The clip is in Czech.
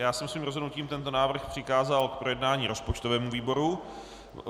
Já jsem svým rozhodnutím tento návrh přikázal k projednání rozpočtovému výboru.